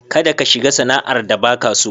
Kada ka shiga sana'ar da baka so.